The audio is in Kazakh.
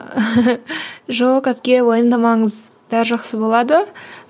жоқ әпке уайымдамаңыз бәрі жақсы болады